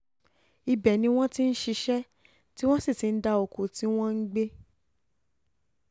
um ibẹ̀ ni wọ́n ti um ń ṣiṣẹ́ tí wọ́n ti ń dá oko tí wọ́n ń gbé